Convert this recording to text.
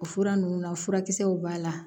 O fura ninnu na furakisɛw b'a la